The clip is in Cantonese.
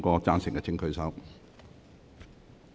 贊成的請舉手。